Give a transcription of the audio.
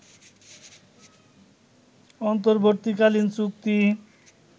অন্তর্বর্তীকালীন চুক্তি